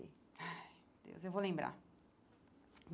Ai, Deus, eu vou lembrar.